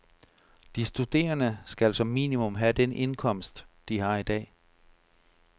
De studerende skal som minimum have den indkomst, de har i dag.